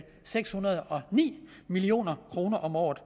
seks hundrede og ni million kroner om året